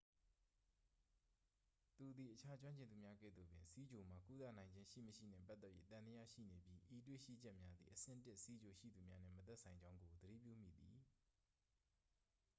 သူသည် အခြားကျွမ်းကျင်သူများ ကဲ့သို့ပင် ဆီးချိုမှာ ကုသနိုင်ခြင်း ရှိမရှိနှင့် ပတ်သက်၍ သံသယရှိနေပြီး ဤတွေ့ရှိချက်များသည် အဆင့် 1 ဆီးချိုရှိသူများနှင့် မသက်ဆိုင်ကြောင်းကို သတိပြုမိသည်